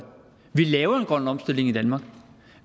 vi laver en grøn omstilling i danmark